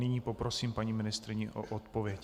Nyní poprosím paní ministryni o odpověď.